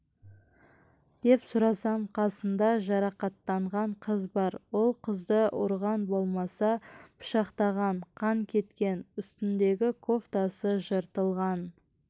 деп сұрасам қасында жарақаттанған қыз бар ол қызды ұрған болмаса пышақтаған қан кеткен үстіндегі кофтасы жыртылған